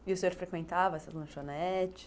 E o senhor frequentava essas lanchonetes?